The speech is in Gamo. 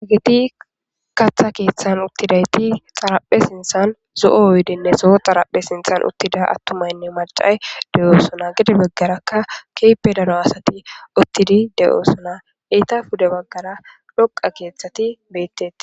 egeti katha keeththan uttidayti xaraphe sinthan zo'o oydenne soo xaraphe sinthan uttida attumaynne macay de'oosona gede beggarakka keepe daro asati uttidi de'oosona eyta pude baggara dhoqa keeththati beettetes.